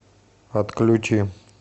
отключи